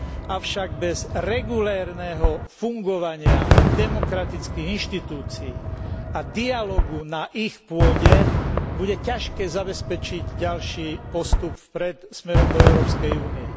Avšak bez regulérneho fungovania demokratických inštitúcií a dialógu na ich pôde bude ťažké zabezpečiť ďalší postup vpred smerom do Európskej únie.